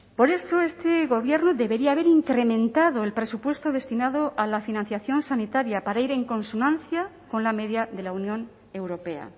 por eso este gobierno debería haber incrementado el presupuesto destinado a la financiación sanitaria para ir en consonancia con la media de la unión europea